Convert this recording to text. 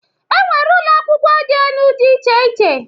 E nwere ụlọakwụkwọ dị enụ dị iche iche.